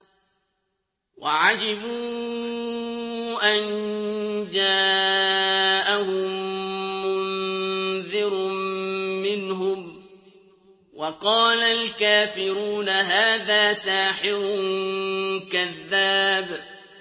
وَعَجِبُوا أَن جَاءَهُم مُّنذِرٌ مِّنْهُمْ ۖ وَقَالَ الْكَافِرُونَ هَٰذَا سَاحِرٌ كَذَّابٌ